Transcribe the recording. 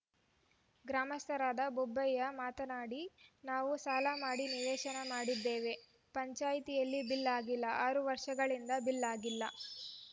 ಗ್ರಾಮಸ್ಥರಾದ ಬೋಬಯ್ಯ ಮಾತನಾಡಿ ನಾವು ಸಾಲ ಮಾಡಿ ನಿವೇಶನ ಮಾಡಿದ್ದೇವೆ ಪಂಚಾಯಿತಿಯಲ್ಲಿ ಬಿಲ್‌ ಆಗಿಲ್ಲ ಆರು ವರ್ಷಗಳಿಂದ ಬಿಲ್‌ ಆಗಿಲ್ಲ